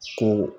Ko